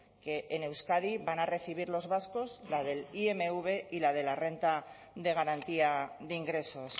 que en euskadi van a recibir los vascos la del imv y la de la renta de garantía de ingresos